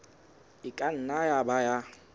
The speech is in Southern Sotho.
e ka nna ya ba